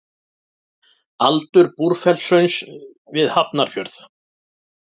Aldur Búrfellshrauns við Hafnarfjörð.